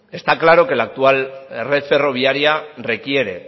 está claro que la actual red ferroviaria requiere